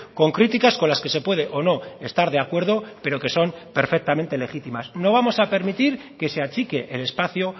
con críticas con las que se puede o no estar de acuerdo pero que son perfectamente legítimas no vamos a permitir que se achique el espacio